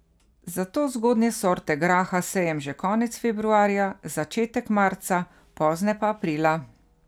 Zato zgodnje sorte graha sejem že konec februarja, začetek marca, pozne pa aprila.